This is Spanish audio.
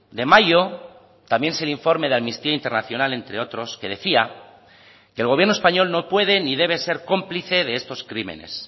de mayo también es el informe de amnistía internacional entre otros que decía que el gobierno español no puede ni debe ser cómplice de estos crímenes